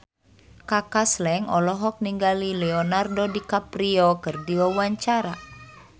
Kaka Slank olohok ningali Leonardo DiCaprio keur diwawancara